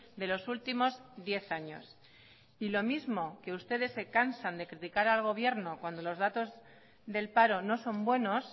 de los últimos diez años y lo mismo que ustedes se cansan de criticar al gobierno cuando los datos del paro no son buenos